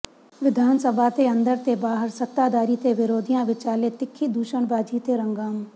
ਵਿਧਾਨ ਸਭਾ ਦੇ ਅੰਦਰ ਤੇ ਬਾਹਰ ਸੱਤਾਧਾਰੀ ਤੇ ਵਿਰੋਧੀਆਂ ਵਿਚਾਲੇ ਤਿੱਖੀ ਦੁਸ਼ਣਬਾਜ਼ੀ ਤੇ ਹੰਗਾਮ